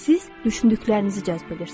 Siz düşündüklərinizi cəzb edirsiniz.